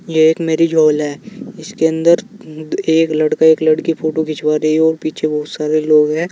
ये एक marriage hall है। इसके अंदर एक लड़का एक लड़की फोटो खिंचवा रहे हैं और पीछे बहोत सारे लोग हैं।